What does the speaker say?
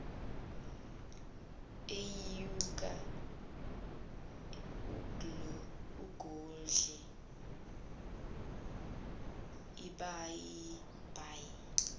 uyenyuka ugodle ibhayibheli